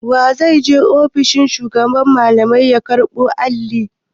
Wa zai je ofishin shugaban malamai ya karɓo Alli?